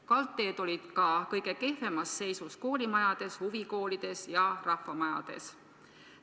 Kaldteed olid ka kõige kehvemas seisus koolimajades, huvikoolides ja rahvamajades.